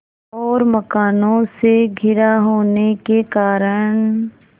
और मकानों से घिरा होने के कारण